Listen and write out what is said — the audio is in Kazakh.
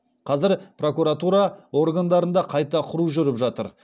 қазір прокуратура органдарында қайта құру жүріп жатыр